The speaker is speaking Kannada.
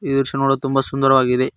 ಈ ದೃಶ್ಯ ನೋಡಲು ತುಂಬ ಸುಂದರವಾಗಿದೆ.